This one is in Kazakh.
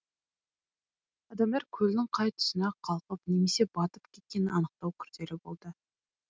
адамдар көлдің қай тұсына қалқып немесе батып кеткенін анықтау күрделі болды